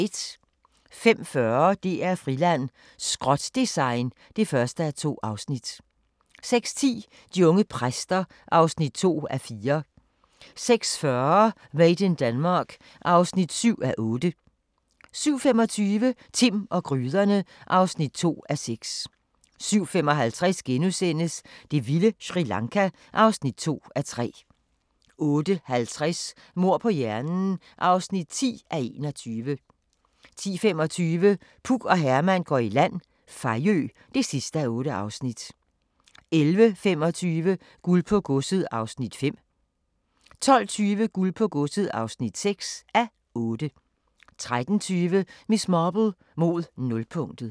05:40: DR-Friland: Skrot-design (1:2) 06:10: De unge præster (2:4) 06:40: Made in Denmark (7:8) 07:25: Timm og gryderne (2:6) 07:55: Det vilde Sri Lanka (2:3)* 08:50: Mord på hjernen (10:21) 10:25: Puk og Herman går i land – Fejø (8:8) 11:25: Guld på godset (5:8) 12:20: Guld på Godset (6:8) 13:20: Miss Marple: Mod nulpunktet